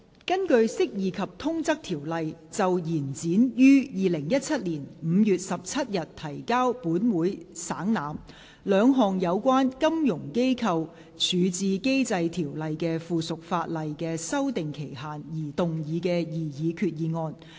根據《釋義及通則條例》就延展於2017年5月17日提交本會省覽，兩項有關《金融機構條例》的附屬法例的修訂期限而動議的擬議決議案。